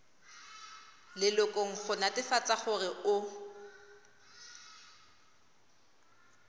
lelokong go netefatsa gore o